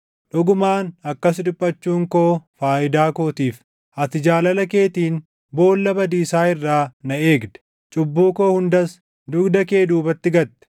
Dhugumaan akkas dhiphachuun koo faayidaa kootiif. Ati jaalala keetiin boolla badiisaa irraa na eegde; cubbuu koo hundas, dugda kee duubatti gatte.